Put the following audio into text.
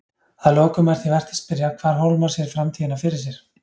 Að lokum er því vert að spyrja hvar Hólmar sér framtíðina fyrir sér?